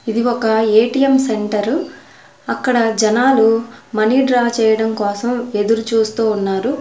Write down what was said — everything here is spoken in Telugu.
ఇది ఒక ఏ_టీ_ఎం సెంటరు అక్కడ జనాలు మనీ డ్రా చేయడం కోసం ఎదురు చూస్తూ ఉన్నారు.